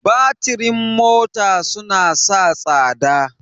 Batirin mota suna sa tsada.